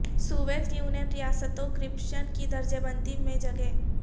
Soviet Union ریاستوں corruption کی درجہ بندی میں جگہ